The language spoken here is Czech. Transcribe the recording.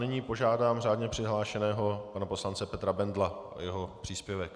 Nyní požádám řádně přihlášeného pana poslance Petra Bendla o jeho příspěvek.